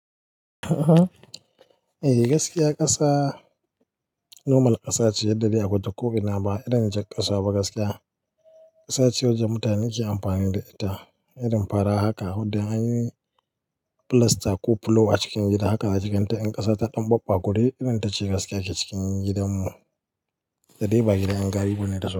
Eh gaskiya ƙasa normal ƙasa ce, ya yadda akwai ko-i na ba irin jar ƙasa ba gaskiya. Ƙasa ce wacce mutane ke amfani da ita irin fara haka. Wadda anyi filasta ko fulo a cikin gida haka a cikinta in ƙasa ta ɗan babba kure irin ta ce gaskiya ke cikin gidanmu. Da dai ba gidan ƴan gari bane da.